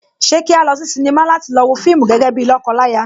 Ṣé kí a lọ sí sinimá láti lọ wo fíìmù gẹ́gẹ́ bíi lọ́kọ láya?